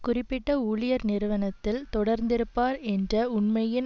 குறிப்பிட்ட ஊழியர் நிறுவனத்தில் தொடர்ந்திருப்பார் என்ற உண்மையின்